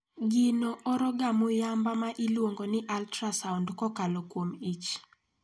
Gino oro ga muyamba ma iluongo ni ultrasound kokalo kuom ich.